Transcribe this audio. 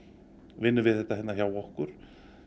vinnur við þetta hjá okkur